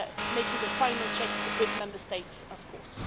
making the final checks with Member States, of course.